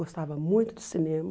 Gostava muito de cinema.